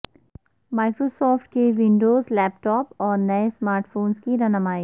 Microsoft کے Windows laptop اور نئے سمارٹ فونز کی رونمائی